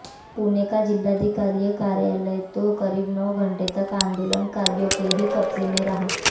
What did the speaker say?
पुणे का जिलाधिकारी कार्यालय तो करीब नौ घंटे तक आंदोलनकारियों के ही कब्जे में रहा